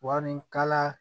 Wari kala